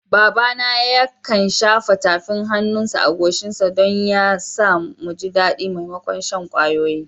Babana yakan shafa tafin hannunsa a goshinmu don ya sa, mu ji daɗi maimakon shan kwayoyi.